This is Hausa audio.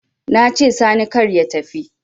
Nace sani kar ya tafi